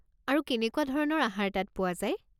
আৰু কেনেকুৱা ধৰণৰ আহাৰ তাত পোৱা যায়?